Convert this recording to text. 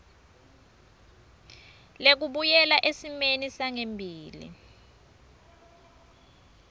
lekubuyela esimeni sangembili